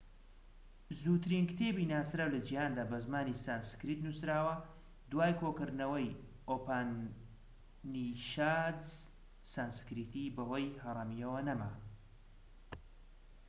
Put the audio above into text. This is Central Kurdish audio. زووترین کتێبی ناسراو لە جیهاندا بە زمانی سانسکریت نووسراوە دوای کۆکردنەوەی ئوپانیشادس سانسکریتی بەهۆی هەرەمییەوە نەما